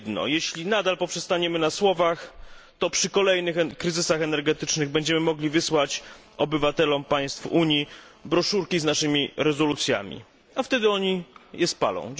Jeśli nadal poprzestaniemy na słowach, to przy kolejnych kryzysach energetycznych będziemy mogli wysłać obywatelom państw Unii broszurki z naszymi rezolucjami, a wtedy oni je spalą.